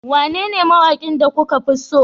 Wanene mawakin da kuka fi so